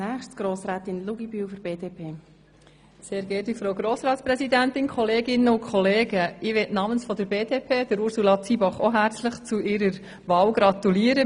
Ich möchte namens der BDP-Fraktion Ursula Zybach ebenfalls herzlich zur Wahl als Grossratspräsidentin gratulieren.